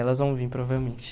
Elas vão vir, provavelmente.